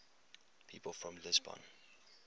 people from lisbon